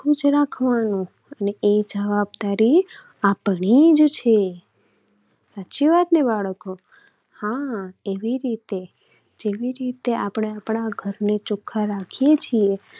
ચોખ્ખું જ રાખવાનું અને એ જવાબદારી આપણી જ છે. સાચી વાત ને બાળકો? હા એવી રીતે, જેવી રીતે આપણે આપણા ઘરને ચોખ્ખું રાખીએ છીએ